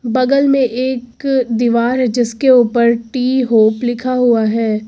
बगल में एक दीवार है जिसके ऊपर टी होप लिखा हुआ है।